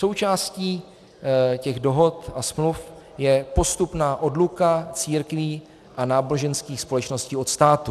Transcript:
Součástí těch dohod a smluv je postupná odluka církví a náboženských společností od státu.